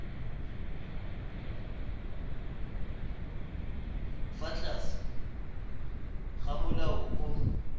fa tlase ga molao o